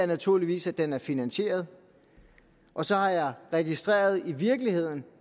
naturligvis at den er finansieret og så har jeg registreret en i virkeligheden